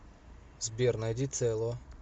сбер найди цело